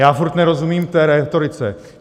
Já furt nerozumím té rétorice.